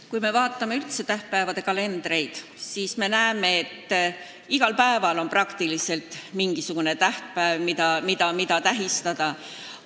Kui me vaatame tähtpäevade kalendrit, siis näeme, et peaaegu igal päeval on midagi tähistada.